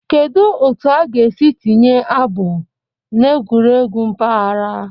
Kedu otu a ga-esi tinye abụ n'egwuregwu mpaghara?